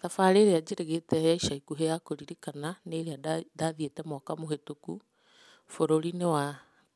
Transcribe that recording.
Thabarĩ ĩrĩa njĩrĩgĩte ya ica ikũhĩ ya kũririkana nĩ ĩrĩa ndathiĩte mwaka mũhetũku bũrũri-inĩ wa